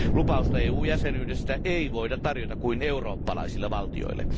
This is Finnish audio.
Lupausta EU jäsenyydestä ei voida tarjota kuin eurooppalaisille valtioille.